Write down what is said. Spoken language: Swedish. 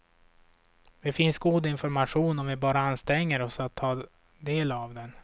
Det finns god information om vi bara anstränger oss att ta del av den.